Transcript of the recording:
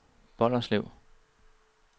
Bolderslev